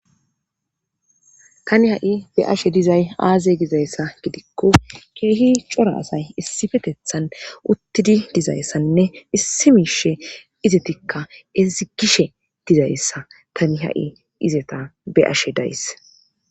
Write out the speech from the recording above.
Tani hay beyeshe dizay azi gida gidiko kehi cora asay issipetethan utidi dizasanne issi mishe izatikka sikishe dizaysda tani hayi izata be'she days.